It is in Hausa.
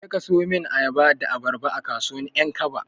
Jeka ka siyo min ayaba da abarba, a kasuwar 'Yankaba.